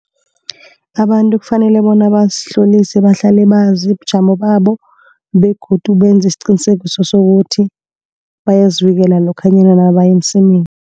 Abantu kufanele bona bazihlolise, bahlale bazi bujamo babo begodu benze isiqiniseko sokuthi bayazivikela lokha nabaya emsemeni.